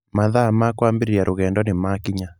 Mathaa ma kwambĩrĩria rũgendo nĩ maakinya.